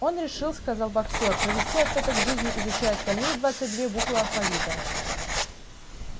он решил сказал боксёр провести остаток жизни изучая остальные двадцать две буквы алфавита